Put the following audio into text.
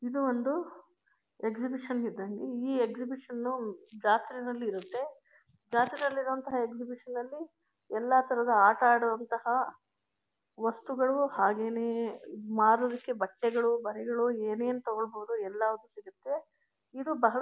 ಇದು ಒಂದು ಎಕ್ಸಿಮಿಷನ್ ಇದು ಈ ಎಕ್ಸಿಮಿಷನ್ ಜಾತ್ರೆ ಯಲ್ಲಿರುತ್ತೆ ಜಾತ್ರೆಯಲ್ಲಿರುವ ಎಕ್ಸಿಮಿಷನ್ ನಲ್ಲಿ ಎಲ್ಲಾ ತರದ ಆಟ ಆಡುವಂತಹ ವಸ್ತುಗಳು ಹಾಗೇನೇ ಮಾರುವುದಕ್ಕೆ ಬಟ್ಟೆಗಳು ಬರೆಗಳು ಏನೇನು ತಗೋಬಹುದೋ ಎಲ್ಲ ಸಿಗುತ್ತೆ ಇದು ಬಹಳ.